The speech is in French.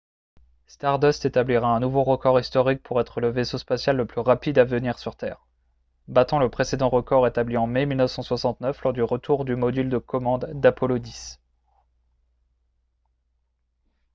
stardust établira un nouveau record historique pour être le vaisseau spatial le plus rapide à revenir sur terre battant le précédent record établi en mai 1969 lors du retour du module de commande d'apollo x